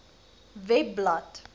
webblad